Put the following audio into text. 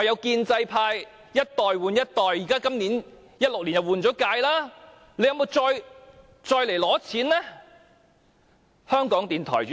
建制派一代換一代 ，2016 年已換屆了，政府有沒有再來申請撥款呢？